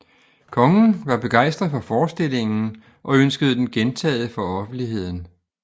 Kongen var begejstret for forestillingen og ønskede den gentaget for offentligheden